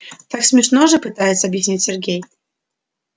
так смешно же пытается объяснить сергей